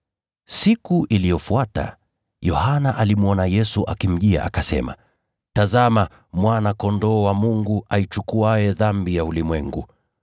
Siku iliyofuata, Yohana alimwona Yesu akimjia akasema, “Tazama, Mwana-Kondoo wa Mungu aichukuaye dhambi ya ulimwengu!